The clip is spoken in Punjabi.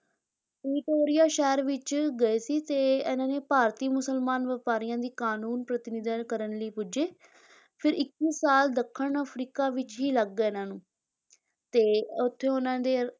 ਪ੍ਰੀਟੋਰੀਆ ਸ਼ਹਿਰ ਵਿੱਚ ਗਏ ਸੀ ਤੇ ਇਹਨਾਂ ਨੇ ਭਾਰਤੀ ਮੁਸਲਮਾਨ ਵਪਾਰੀਆਂ ਦੀ ਕਾਨੂੰਨ ਪ੍ਰਤਿਨਿਧਤਾ ਕਰਨ ਲਈ ਪੁੱਜੇ, ਫਿਰ ਇੱਕੀ ਸਾਲ ਦੱਖਣ ਅਫਰੀਕਾ ਵਿੱਚ ਹੀ ਲੱਗ ਗਏ ਇਹਨਾਂ ਨੂੰ ਤੇ ਉਥੇ ਉਨ੍ਹਾਂ ਦੇ